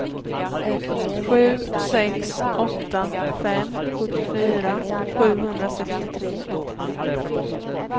sju sex åtta fem sjuttiofyra sjuhundrasextiotre